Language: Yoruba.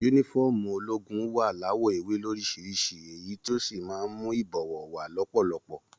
Yúnífọ̀ọ́mù ológun wa lawọ ewé lorisirisi èyí tí o sí máa n mú ibọwọ wa lọpọlọpọ.